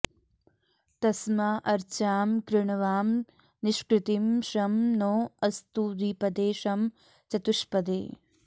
तस्मा॑ अर्चाम कृ॒णवा॑म॒ निष्कृ॑तिं॒ शं नो॑ अस्तु द्वि॒पदे॒ शं चतु॑ष्पदे